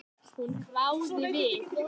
Hún hváði við.